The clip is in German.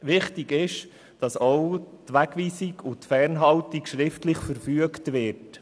Wichtig ist, dass auch die Wegweisung und Fernhaltung schriftlich verfügt wird.